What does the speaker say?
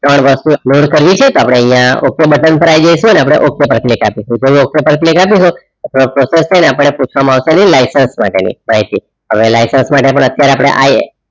ત્રણ વસ્તુ upload કરવી છે તો અપડે અહીંયા okay બુટટેન પર આય જઇસુ okay પર click અપિસું okay પર click અપડે પુછવામાં અવસે લયકાત માટે ની માહિતી લયકાત માટે પણ અત્યરેહ